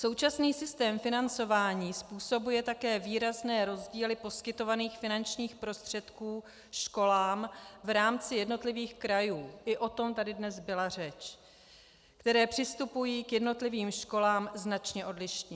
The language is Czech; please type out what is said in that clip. Současný systém financování způsobuje také výrazné rozdíly poskytovaných finančních prostředků školám v rámci jednotlivých krajů, i o tom tady dnes byla řeč, které přistupují k jednotlivým školám značně odlišně.